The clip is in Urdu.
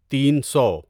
تین سو